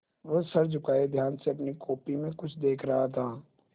वह सर झुकाये ध्यान से अपनी कॉपी में कुछ देख रहा था